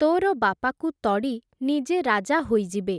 ତୋର ବାପାକୁ ତଡ଼ି ନିଜେ ରାଜା ହୋଇଯିବେ ।